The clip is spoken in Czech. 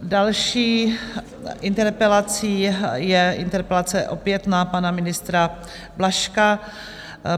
Další interpelací je interpelace opět na pana ministra Blažka.